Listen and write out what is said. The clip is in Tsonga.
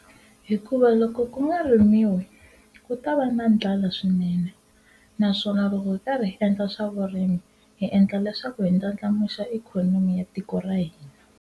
Hikuva loko ku nga rimiwa ku ta va na ndlala swinene naswona loko hi karhi hi endla swa vurimi hi endla leswaku hi ndlandlamuxa ikhonomi ya tiko ra hina